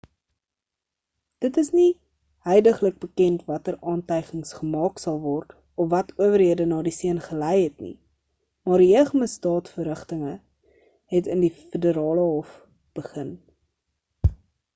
dit is nog nie huidiglik bekend watter aantygings gemaak sal word of wat owerhede na die seun gelei het nie maar jeugmisdaad-verrigtinge het in die federale hof begin